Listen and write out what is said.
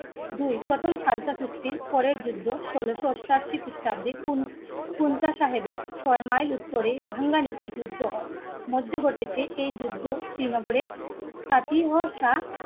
দুই. প্রথম খালসা দৃষ্টি পরের যুদ্ধ, ষোল অষ্টাশি, খ্রিস্টাব্দে. সাহেবের ছয় মাইল উত্তরে ভাঙ্গা নিতে যুদ্ধ হয় মধ্যে ঘটেছে এই যুদ্ধ শ্রীনগরের খাতি, অসা